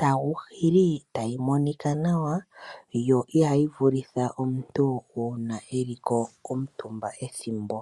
taguhili notayi monika nawa, yo ihayi vulitha omuntu uuna akuutumbako ethimbo.